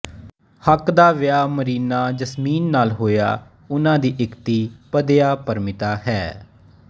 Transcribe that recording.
ਹੱਕ ਦਾ ਵਿਆਹ ਮਰੀਨਾ ਯਸਮੀਨ ਨਾਲ ਹੋਇਆ ਉਨ੍ਹਾਂ ਦੀ ਇਕ ਧੀ ਪਦਿਆ ਪਰਮੀਤਾ ਹੈ